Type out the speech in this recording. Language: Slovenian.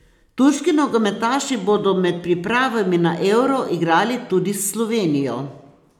Turški nogometaši bodo med pripravami na Euro igrali tudi s Slovenijo.